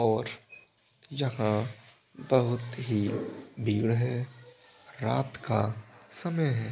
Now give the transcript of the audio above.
और यहाँ बहुत ही भीड़ है रात का समय है।